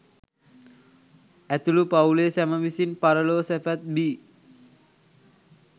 ඇතුළු පවුලේ සැම විසින් පරලොව සැපත් බී.